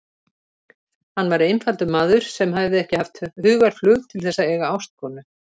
Hann var einfaldur maður sem hefði ekki haft hugarflug til þess að eiga ástkonu.